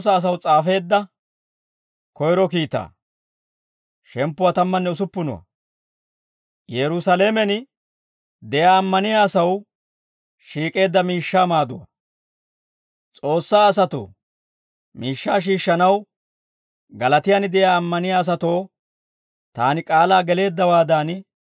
S'oossaa asatoo miishshaa shiishshanaw Galaatiyaan de'iyaa ammaniyaa asatoo taani k'aalaa geleeddawaadan, hinttenttukka k'ay hewaadan ootsite.